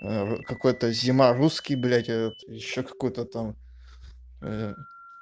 ээ какой-то зима русский блять этот ещё какой-то там ээ